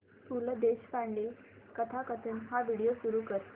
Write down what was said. पु ल देशपांडे कथाकथन हा व्हिडिओ सुरू कर